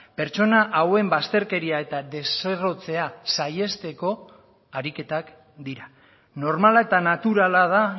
pertsona hauen bazterkeria eta deserrotzea saihesteko ariketak dira normala eta naturala da